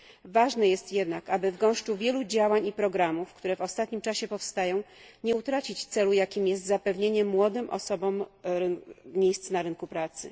Ważne jest jednak, aby w gąszczu wielu działań i programów, które w ostatnim czasie powstają, nie utracić celu, jakim jest zapewnienie młodym osobom miejsc na rynku pracy.